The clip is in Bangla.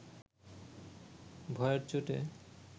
ভয়ের চোটে